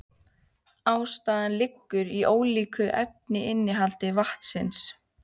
Ástæðan liggur í ólíku efnainnihaldi vatnsins.